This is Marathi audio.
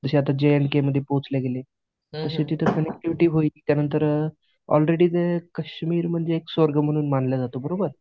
जे आता जे न के मध्ये पोहोचले गेले, अशी तिथे कनेक्टिव्हीटी होईल. त्यांनतर आलरेडी ते कश्मीर म्हणजे स्वर्ग म्हणून मानलं जातो बरोबर